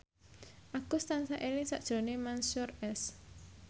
Agus tansah eling sakjroning Mansyur S